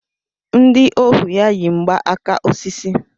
Ndị ohu ya yi mgba aka osisi.